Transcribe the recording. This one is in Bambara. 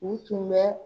U tun bɛ